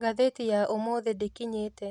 Ngathĩti ya ũmũthĩ ndĩkinyĩte